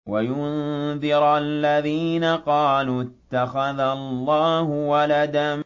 وَيُنذِرَ الَّذِينَ قَالُوا اتَّخَذَ اللَّهُ وَلَدًا